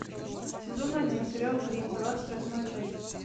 сезон один сериал гримм двадцать восьмая часть